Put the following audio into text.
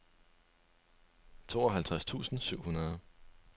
tooghalvtreds tusind syv hundrede